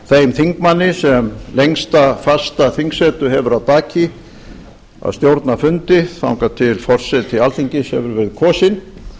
þeim þingmanni sem lengsta fasta þingsetu hefur að baki að stjórna fundi þangað til forseti alþingis hefur verið kosinn